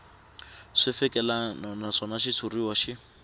swi fikelelangi naswona xitshuriwa xi